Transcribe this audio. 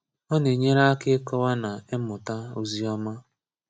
Ọ na-enyere aka ịkowa na ịmụta oziọma.